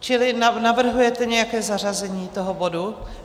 Čili navrhujete nějaké zařazení toho bodu?